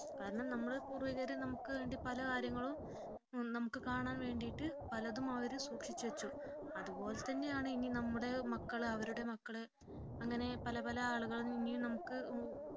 കാരണം നമ്മുടെ പൂർവികർ നമുക്ക് വേണ്ടി പല കാര്യങ്ങളും നമുക്ക് കാണാൻ വേണ്ടി പലതും അവർ സൂക്ഷിച്ചു വെച്ചു അതുപോലെ തന്നെയാണ് ഇനി നമ്മുടെ മക്കൾ അവരുടെ മക്കൾ അങ്ങനെ പല പല ആളുകളും ഇനിയും നമുക്ക്